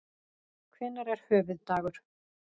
Hvenær er höfuðdagur?